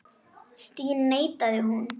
Því neitaði hún.